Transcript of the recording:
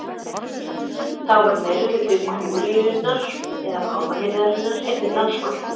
Þá var meirihluti kúríunnar eða páfahirðarinnar einnig franskur.